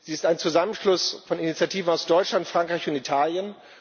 Sie ist ein Zusammenschluss von Initiativen aus Deutschland, Frankreich und Italien.